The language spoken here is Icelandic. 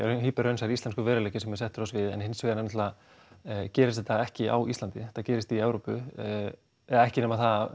raunsær íslenskur veruleiki sem er settur á svið en hins vegar náttúrulega gerist þetta ekki á Íslandi þetta gerist í Evrópu eða ekki nema það